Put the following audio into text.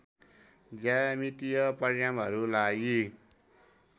ज्यामितीय परिमाणहरूलाई